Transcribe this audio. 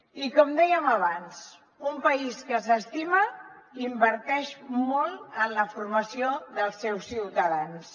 i com dèiem abans un país que s’estima inverteix molt en la formació dels seus ciutadans